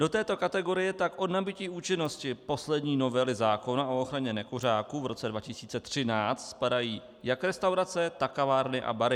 Do této kategorie tak od nabytí účinnosti poslední novely zákona o ochraně nekuřáků v roce 2013 spadají jak restaurace, tak kavárny a bary.